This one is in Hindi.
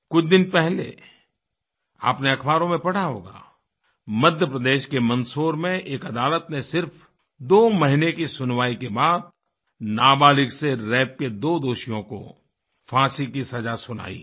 कुछ दिन पहले आपने अख़बारों में पढ़ा होगा मध्य प्रदेश के मंदसौर में एक अदालत ने सिर्फ़ दो महीने की सुनवाई के बाद नाबालिग़ से रेप के दो दोषियों को फाँसी की सज़ा सुनाई है